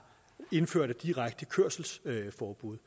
indført et direkte kørselsforbud